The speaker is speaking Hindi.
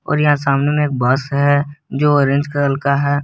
और यहां सामने में एक बस है जो ऑरेंज कलर का है।